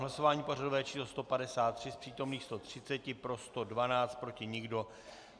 Hlasování pořadové číslo 153, z přítomných 130 pro 112, proti nikdo.